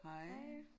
Hej